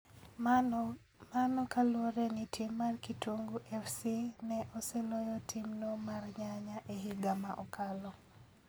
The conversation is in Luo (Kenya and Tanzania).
Mano kaluwore ni tim mar Kitungu Fc ne oseloyo tim no mar Nyanya e higa ma okalo